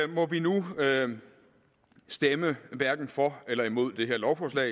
må vi nu stemme hverken for eller imod det her lovforslag